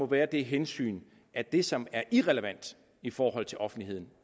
være det hensyn at det som er irrelevant i forhold til offentligheden